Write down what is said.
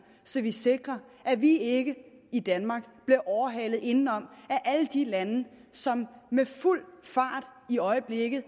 så vi sikrer at vi ikke i danmark bliver overhalet indenom af alle de lande som med fuld fart i øjeblikket